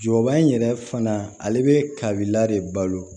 Jɔba in yɛrɛ fana ale bɛ kabila de balo